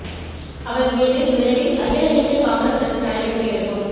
அவர் மீது விரைவில் அகில இந்திய காங்கிரஸ் கட்சி நடவடிக்கை எடுக்கும்